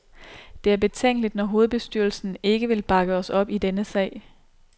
Det er betænkeligt, når hovedbestyrelsen ikke vil bakke os op i denne sag.